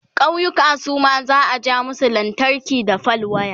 ƙauyuka Suma za'a ja musu lantarki da fal waya